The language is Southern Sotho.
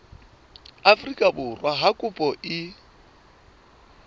afrika borwa ha kopo e